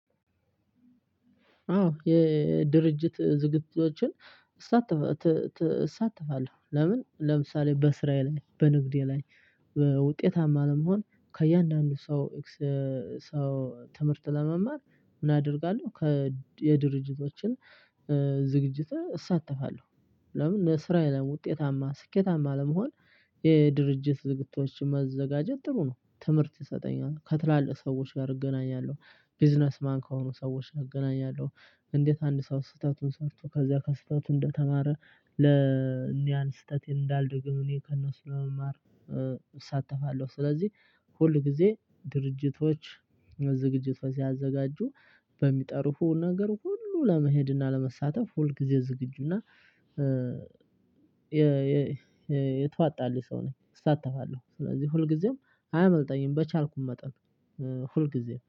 አዎ የድርጅት ዝግጁዎችን እሳተፋለሁ ለምን ለምሳሌ በስራዬ ላይ በንግዴ ላይ ውጤታማ ለመሆን ከእያንዳንዱ ሰው ትምህርት ለመማር ምን አደርጋለሁ ከ የድርጅቶችን ዝግጅት እሳተፋለሁ? ለምን ለስራየ ላይ ውጤታማ ስኬታማ ለመሆን የድርጅት ዝግጅቶችን መዘጋጀት ጥሩ ነው ትምህርት ይሰጠኛል ከትላልቅ ሰዎች ጋር እገናኛለሁ። ቢዝነስ ማን ከሆኑ ሰዎች እገናኛለሁ? እንዴት አንድ ሰው ስህተቱን ሰርቶ ከዛ ከስህተቱ እንደተማረ ለእኒያን ስህተቴን እንዳልደግም እኔ ከእነሱ ለመማር እሳተፋለሁ። ስለዚህ ሁል ጊዜ ድርጅቶች ዝግጅት ሲያዘጋጁ በሚጠሩፉን ነገር ሁሉ ለመሄድና ለመሳተፍ ሁልጊዜ ዝግጁና የተዋጣለት ሰው ነኝ እሳተፋለሁ። ስለዚህ ሁልጊዜም አያመልጠኝም። በቻልኩም መጠን ሁልጊዜም